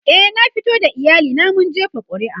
e na fito da iyali na mun jefa ƙuri'a